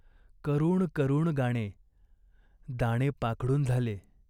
करुण करुण गाणे. दाणे पाखडून झाले.